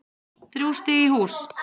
Þrjú stig í hús